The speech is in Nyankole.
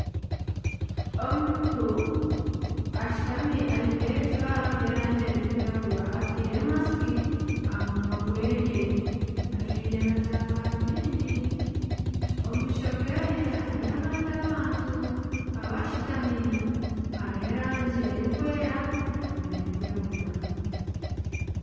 Omuntu ashutami ajwaire ebijwaro ebyerangi erikwiragura, atiire masiki aha munwa gweye ,ajwaire na za garubindi omu maisho geye hariyo abandi abantu ,abashutami hariho erangi erikwera nana erikwiragura.